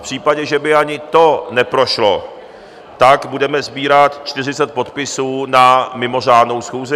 V případě, že by ani to neprošlo, tak budeme sbírat 40 podpisů na mimořádnou schůzi.